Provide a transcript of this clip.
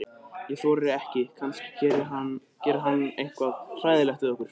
Ég þori ekki, kannski gerir hann eitthvað hræðilegt við okkur.